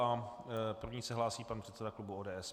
Jako první se hlásí pan předseda klubu ODS.